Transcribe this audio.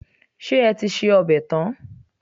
Ṣé o ti se ọbẹ̀ tán?